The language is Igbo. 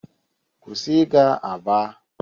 kwụsị ịga aba!